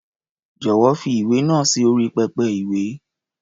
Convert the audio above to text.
Jọ̀wọ́, fi ìwé náà sí orí pẹpẹ-ìwé.